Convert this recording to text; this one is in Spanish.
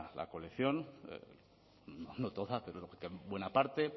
la colección pero buena parte